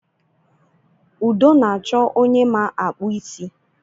Udo na-achọ onye ma akpụ isi